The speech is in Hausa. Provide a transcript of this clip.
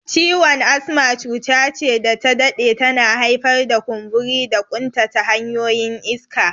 Ciwon asma cuta ce da ta dade tana haifar da kumburi da ƙuntata hanyoyin iska.